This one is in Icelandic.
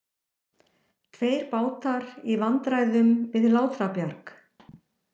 Tveir bátar í vandræðum við Látrabjarg